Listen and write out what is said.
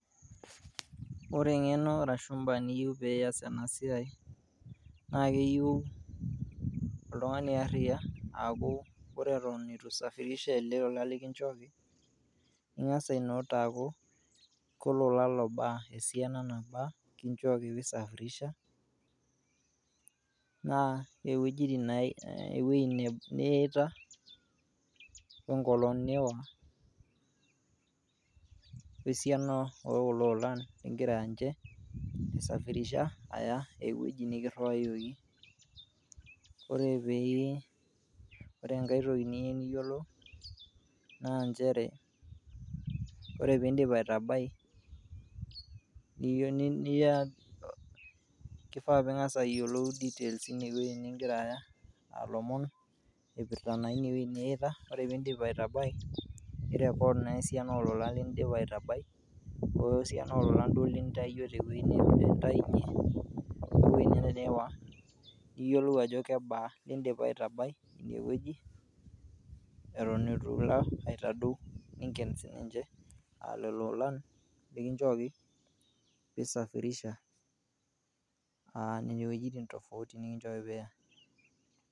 Ore eng'eno arashu mbaa niyeu piiyas ena siai naake eyau oltung'ani ariya aaku kore eton itu isafirisha ele ola lekinjooki ning'as ai note aaku kolola lobaa esiana nabaa kinjooki pee isafirisha naa iwoji iwuejitin ewuei niita we nkolong' niiwa we siana o kulo olan ling'ira nje aisafirisha aya ewoi nikiriwayioki. Ore pii ore enkae toki niyeu niyolou naa njere kore piindip aitabai kiyeuni nia kifaa ping'as ayolou details ine wueji ning'ira aya lomon oipirta naa ine wueji niita. Ore piindip aitabai ni record naa esiana o lolan lindipa aitabai o we siana ololan lintawuo duo te wueji nintayunye niyolou ajo kebaa lindipa aitabai ine wueji eton itu ilo aitadou ning'en sininje lelo olan lekinjooki pee isafirisha nene wojitin tofauti nekinjooki piiya.